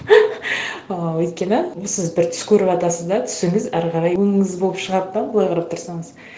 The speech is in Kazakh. ыыы өйткені сіз бір түс көріватасыз да түсіңіз әрі қарай өңіңіз болып шығады да былай қарап тұрсаңыз